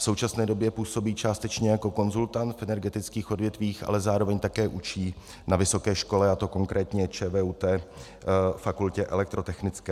V současné době působí částečně jako konzultant v energetických odvětvích, ale zároveň také učí na vysoké škole, a to konkrétně ČVUT, Fakultě elektrotechnické.